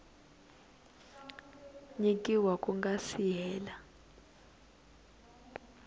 nyikiwa ku nga si hela